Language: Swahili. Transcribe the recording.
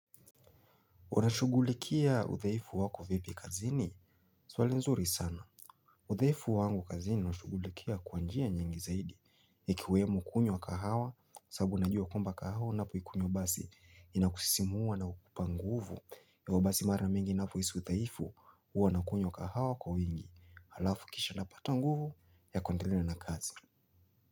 Unashughulikia udhaifu wako vipi kazini? Swali nzuri sana. Udhaifu wangu kazini nashughulikia kwa njia nyingi zaidi. Ikiwemo kunywa kahawa sabu najua kwamba kahawa unapoikunywa basi inakusisimua na hukupa nguvu. Hivyo basi mara mingi ninapohisi udhaifu huwa nakunywa kahawa kwa wingi. Halafu kisha napata nguvu ya kuendelea na kazi.